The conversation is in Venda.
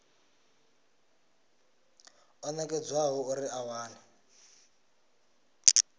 o nekedzwaho uri a wane